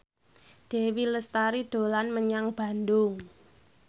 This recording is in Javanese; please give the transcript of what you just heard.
Dewi Lestari dolan menyang Bandung